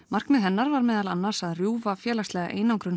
markmið hennar var meðal annars að rjúfa félagslega einangrun